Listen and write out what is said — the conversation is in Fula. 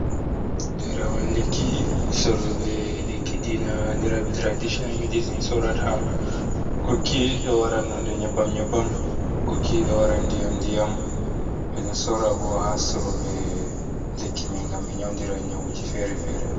Ɗo ɗerewol lekki, soroɓe lekki diina anndiraaɓe tiradicinal medicin sorata. Gokki ɗo waran nonde nyebbam nyebbam ,gokki ɗo waran ndiyam ndiyam. Ɓe ɗo soora bo haa sorooɓe lekki may ngam ɓe nyawndira nyawuji fere-fere.